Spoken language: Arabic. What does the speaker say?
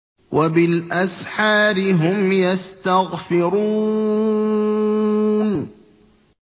وَبِالْأَسْحَارِ هُمْ يَسْتَغْفِرُونَ